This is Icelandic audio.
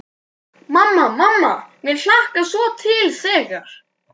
Mamma, mamma mér hlakkar svo til þegar.